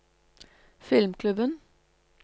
filmklubben